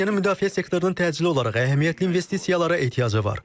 Ukraynanın müdafiə sektorunun təcili olaraq əhəmiyyətli investisiyalara ehtiyacı var.